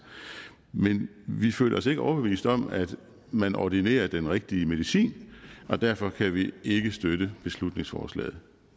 men vi føler os ikke overbevist om at man ordinerer den rigtige medicin og derfor kan vi ikke støtte beslutningsforslaget